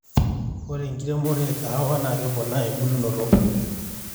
ore enkiremoto e kahawa naa keponaa umbulunoto olosho